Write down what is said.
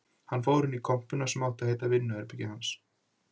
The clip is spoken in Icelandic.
Hann fór inn í kompuna sem átti að heita vinnuherbergi hans